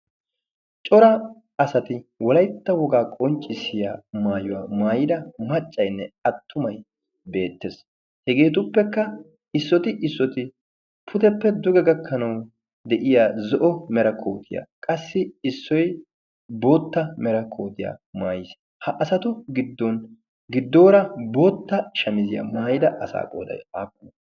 cora asati walaytta wogaa qonccissiya maayuwaa maayida maccaynne attumay beettees. hegeetuppekka issooti issooti puteppe duge gakkanawu de'iya zo'o mera kootiyaa qassi issoi bootta mera kootiyaa maayiis ha asato giddon giddoora bootta shamiziyaa maayida asaa qoday aappunee?